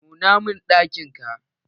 Nuna mun ɗakin ka!